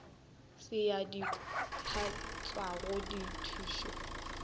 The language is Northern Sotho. se ya kopantšhwago ya dithušo